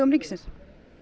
ríkisins